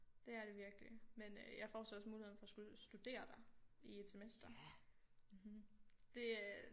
Det er det virkelig men øh jeg får så også muligheden for at skulle studere der i et semester mhm det øh